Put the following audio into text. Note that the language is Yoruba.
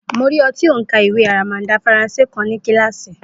Mo rí i tí ó ń ka ìwé aramada Faransé kan ní kíláàsì.